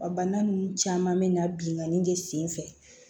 Bana nunnu caman bɛ na binkani de sen fɛ